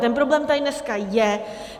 Ten problém tady dneska je.